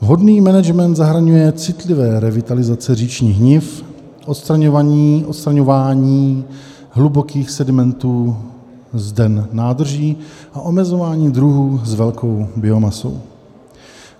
Vhodný management zahrnuje citlivé revitalizace říčních niv, odstraňování hlubokých sedimentů z den nádrží a omezování druhů s velkou biomasou.